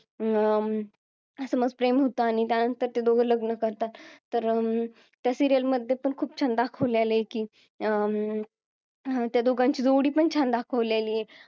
अं प्रेम होता आणि त्यानंतर ते दोघं लग्न करतात तर अं त्या serial मध्ये पण खूप छान दाखवलेला आहे की अं त्या दोघांची जोडी पण छान दाखवलेली आहे